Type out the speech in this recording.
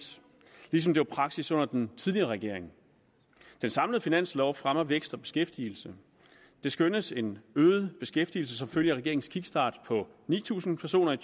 ligesom det var praksis under den tidligere regering den samlede finanslov fremmer vækst og beskæftigelse det skønnes en øget beskæftigelse som følge af regeringens kickstart på ni tusind personer i